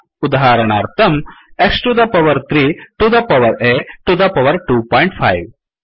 उदाहरणार्थं X to the power 3 to the power a to the power 25